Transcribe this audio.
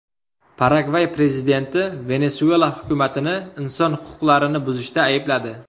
Paragvay prezidenti Venesuela hukumatini inson huquqlarini buzishda aybladi.